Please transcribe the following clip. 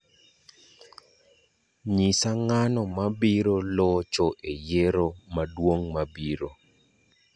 nyisa ng'ano mabiro locho e yiero maduong' mabiro